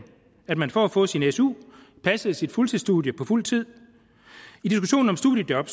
at man for at få sin su passer sit fuldtidsstudie på fuld tid i diskussionen om studiejob